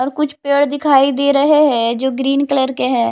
और कुछ पेड़ दिखाई दे रहे हैं जो ग्रीन कलर के हैं।